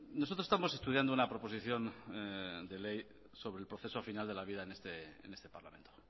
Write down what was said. nosotros estamos estudiando una proposición de ley sobre el proceso final de la vida en este parlamento